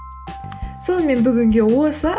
сонымен бүгінге осы